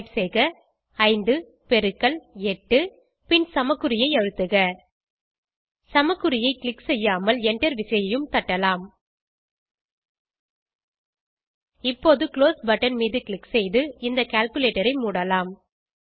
type செய்க 5 பெருக்கல் 8 பின் சமக்குறியை அழுத்துக சமக்குறியை க்ளிக் செய்யாமல் என்டர் விசையையும் தட்டலாம் இப்போது குளோஸ் பட்டன் மீது க்ளிக் செய்து இந்த கால்குலேட்டர் ஐ மூடலாம்